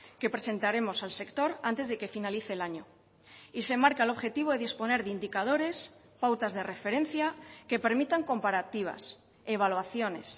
que presentaremos al sector antes de que finalice el año y se marca el objetivo de disponer de indicadores pautas de referencia que permitan comparativas evaluaciones